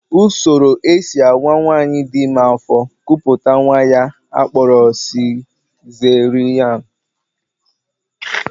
Usoro e si awa nwaanyị dị ime afọ, kupụta nnwa ka a kpọrọ sizeriyan sekshọn (CS) n'aha mkpirisi bekee